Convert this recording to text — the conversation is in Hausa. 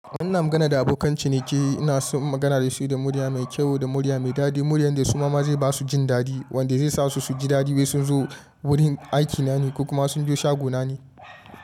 Ina magana da abokan ciniki, ina son magana da su da murya mai kyau da murya mai dadi, murya yanda su ma zai ba su jin dadi wanda zai sa su su ji dadi wai sun zo wurin aikina ne kuma sun zo shaguna ne.